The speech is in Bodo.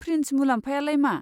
फ्रिन्ज मुलाम्फायालाय मा?